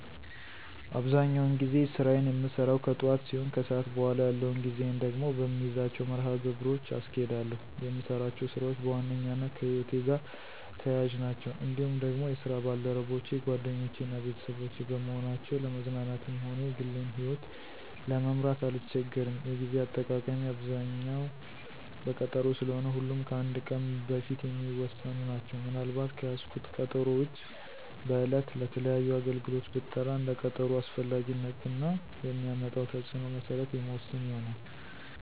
አብዛኛውን ጊዜ ስራየን የምሰራው ከጥዋት ሲሆን ከሰዓት በኋላ ያለውን ጊዜየን ደግሞ በምይዛቸው መርሀ ግብሮች አስኬዳለሁ። የምሰራቸው ስራዎች በዋነኛነት ከህይወቴ ጋር ተያያዥ ናቸው። እንዲሁም ደግሞ የስራ ባልደረቦቼ ጓደኞቼ እና ቤተሰቦቼ በመሆናቸው ለመዝናናትም ሆነ የግሌን ይህወት ለመምራት አልቸገርም። የጌዜ አጠቃቀሜ አብዛኛው በቀጠሮ ስለሆነ ሁሉም ከአንድ ቀን በፊት የሚወሰኑ ናቸው። ምን አልባት ከያዝኩት ቀጠሮ ውጭ በዕለት ለተለያዩ አገልግሎት ብጠራ እንደ ቀጠሮው አስፈላጊነት እና የሚያመጣው ተፅዕኖ መሰረት የምወስን ይሆናል።